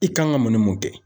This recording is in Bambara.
I kan ka mun ni mun kɛ?